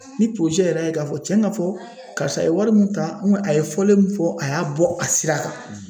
Ni yɛrɛ ye k'a fɔ cɛn ka fɔ karisa ye wari min ta a ye fɔlen min fɔ a y'a bɔ a sira kan